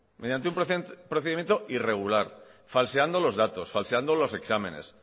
mediante un procedimiento irregular falseando los datos falseando los exámenes